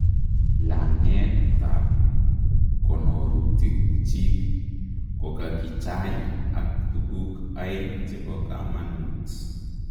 Lang'eetab konorutik chik kokakichaai ak tukuk aeng chebo kamanuut